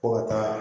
Ko ka taa